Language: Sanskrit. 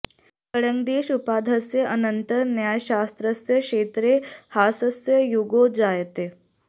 गङ्गेश उपाध्यायस्य अनन्तरं न्यायशास्त्रस्य क्षेत्रे ह्रासस्य युगो जायते